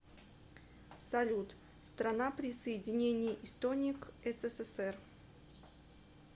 салют страна присоединение эстонии к ссср